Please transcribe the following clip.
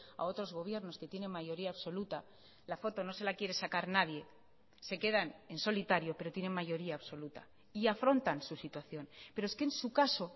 a otros gobiernos que tienen mayoría absoluta la foto no se la quiere sacar nadie se quedan en solitario pero tienen mayoría absoluta y afrontan su situación pero es que en su caso